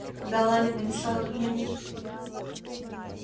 когда ламет написал эту книгу